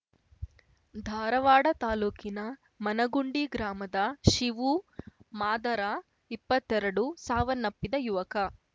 ಧಾರವಾಡ ತಾಲೂಕಿನ ಮನಗುಂಡಿ ಗ್ರಾಮದ ಶಿವು ಮಾದರಇಪ್ಪತ್ತೆರಡು ಸಾವನ್ನಪ್ಪಿದ ಯುವಕ